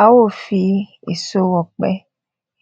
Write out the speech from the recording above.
a ó fi èso òpẹ